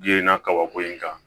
Yirini na kabako in kan